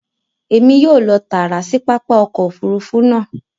Èmi yóò lọ taara sí pápá ọkọ̀ òfurufú náà